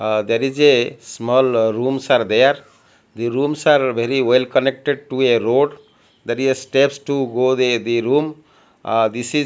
ah there is a small rooms are there the rooms are very well connected to a road there is a steps to go they the room ahh this is--